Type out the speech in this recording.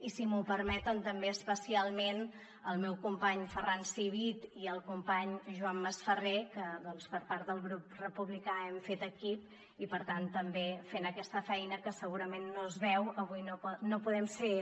i si m’ho permeten també especialment al meu company ferran civit i al company joan masferrer que per part del grup republicà hem fet equip i per tant també fent aquesta feina que segurament no es veu avui no podem ser